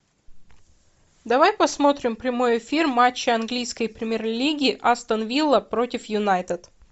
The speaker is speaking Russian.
давай посмотрим прямой эфир матча английской премьер лиги астон вилла против юнайтед